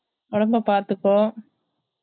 உடம்பா பாத்துக்கோ